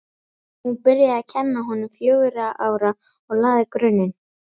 Hún byrjaði að kenna honum fjögurra ára og lagði grunninn.